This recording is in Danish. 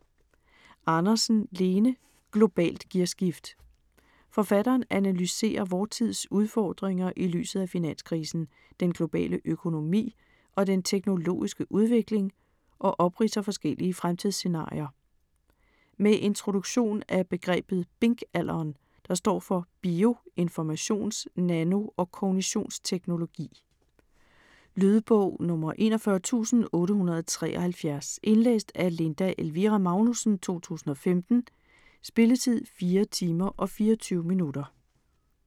Andersen, Lene: Globalt gearskift Forfatteren analyserer vor tids udfordringer i lyset af finanskrisen, den globale økonomi og den teknologiske udvikling og opridser forskellige fremtidsscenarier. Med introduktion af begrebet BINK-alderen, der står for bio-, informations-, nano- og kognitionsteknologi. Lydbog 41873 Indlæst af Linda Elvira Magnussen, 2015. Spilletid: 4 timer, 24 minutter.